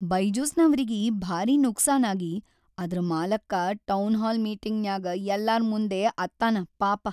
ಬೈಜುಸ್‌ನವ್ರಿಗಿ ಭಾರೀ ನುಕ್ಸಾನಾಗಿ ಅದ್ರ ಮಾಲಕ್ಕ ಟೌನ್ಹಾಲ್ ಮೀಟಿಂಗ್ನ್ಯಾಗ್ ಯಲ್ಲಾರ್ ಮುಂದೇ ಅತ್ತಾನ ಪಾಪ.